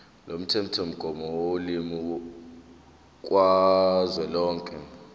lomthethomgomo wolimi kazwelonke